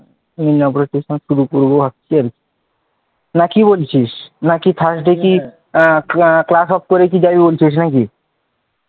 নিয়ে আবার শুরু করব নাকি বলছিস নাকি thursday কি class off করে যাবি বলছিস নাকি,